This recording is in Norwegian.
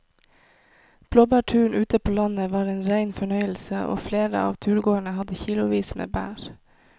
Blåbærturen ute på landet var en rein fornøyelse og flere av turgåerene hadde kilosvis med bær.